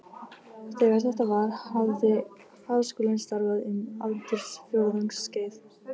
Þegar þetta var, hafði Háskólinn starfað um aldarfjórðungs skeið.